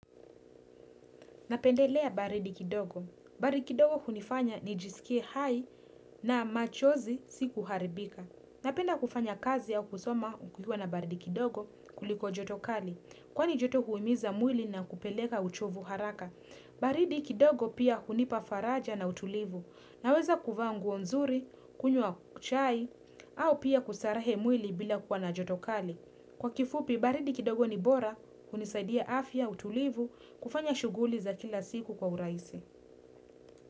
Napendelea baridi kidogo. Baridi kidogo hunifanya nijisikie hai na machozi si kuharibika. Napenda kufanya kazi au kusoma kukiwa na baridi kidogo kuliko joto kali. Kwani joto huhimiza mwili na kupeleka uchovu haraka. Baridi kidogo pia hunipa faraja na utulivu. Naweza kuvaa nguo nzuri, kunywa chai, au pia kustarehe mwili bila kuwa na jotokali. Kwa kifupi, baridi kidogo ni bora, hunisaidia afya, utulivu, kufanya shughuli za kila siku kwa urahisi.